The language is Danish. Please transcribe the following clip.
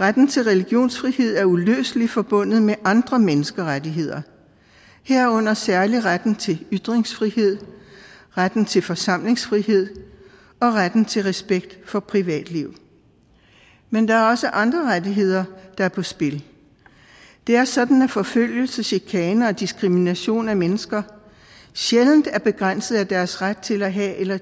retten til religionsfrihed er uløseligt forbundet med andre menneskerettigheder herunder særlig retten til ytringsfrihed retten til forsamlingsfrihed og retten til respekt for privatliv men der er også andre rettigheder der er på spil det er sådan at forfølgelse chikane og diskrimination af mennesker sjældent er begrænset af deres ret til at have eller